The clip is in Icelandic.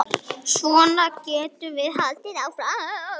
Svona getum við haldið áfram.